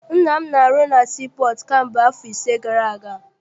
Nna m na- arụ na sii pọọtụ kamgbe afọ ise gara aga.